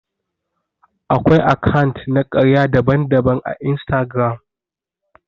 Akwai akant na karya daban-daban à Instagram.